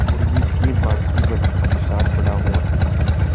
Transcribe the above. वो मुर्गी के बांकी बच्चों के साथ बड़ा हुआ